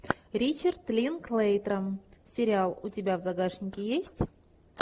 ричард линклейтер сериал у тебя в загашнике есть